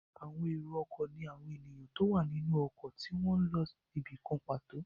Èrò ọkọ̀ ní àwọn èèyàn tó wà nínú ọkọ̀ tí wọ́n n lọ ibìkan pàtó